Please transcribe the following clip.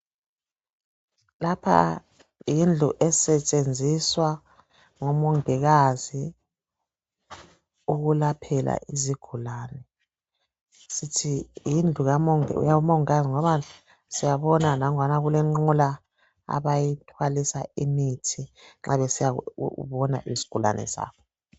Lapha yindlu esetshenziswa ngomongikazi ukwelaphela izigulane. Sithi yindlu kamongikazi ngoba siyabona kulenqola abayithwalisa imithi nxa besiyabona isigulane sabo.